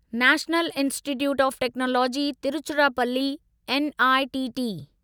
national Institute of Technology Tiruchirappalli NITT